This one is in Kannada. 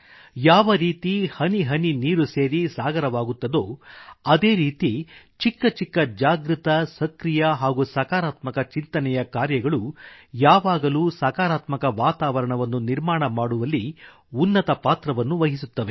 ಯಾವರೀತಿ ಹನಿಹನಿ ನೀರು ಸೇರಿ ಸಾಗರವಾಗುತ್ತದೋ ಅದೇ ರೀತಿ ಚಿಕ್ಕಚಿಕ್ಕಜಾಗೃತ ಸಕ್ರಿಯ ಹಾಗೂ ಸಕಾರಾತ್ಮಕ ಚಿಂತನೆಯ ಕಾರ್ಯಗಳು ಯಾವಾಗಲೂ ಸಕಾರಾತ್ಮಕ ವಾತಾವರಣವನ್ನು ನಿರ್ಮಾಣ ಮಾಡುವಲ್ಲಿ ಉನ್ನತ ಪಾತ್ರವನ್ನು ವಹಿಸುತ್ತದೆ